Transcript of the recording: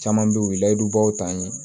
Caman bɛ yen u bɛ layidubaw ta n ye